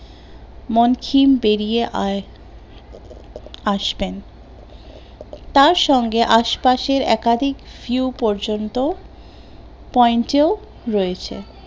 মানকিন পেরিয়ে আস আসবেন, তার সঙ্গে আশেপাশের একাধিক view পর্যন্ত point এও রয়েছে